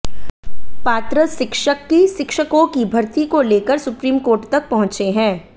पात्र शिक्षक की शिक्षकों की भर्ती को लेकर सुप्रीम कोर्ट तक पहुंचे है